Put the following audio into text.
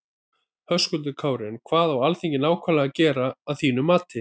Höskuldur Kári: En hvað á Alþingi nákvæmlega að gera að þínum mati?